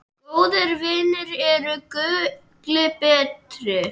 Góðir vinir eru gulli betri.